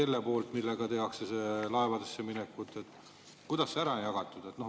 Kelle poolt on siis alused, kui on minekud, kuidas see on ära jagatud?